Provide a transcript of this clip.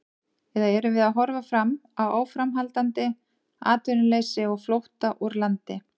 Eða erum við að horfa fram á áframhaldandi atvinnuleysi og flótta úr landi?